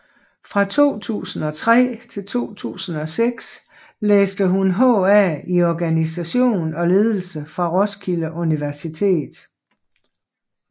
Fra 2003 til 2006 læste hun HA i organisation og ledelse fra Roskilde Universitet